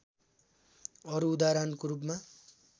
अरू उदाहरणको रूपमा